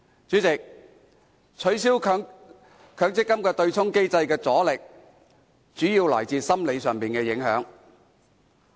主席，取消強積金對沖機制的阻力，主要來自心理上的影響。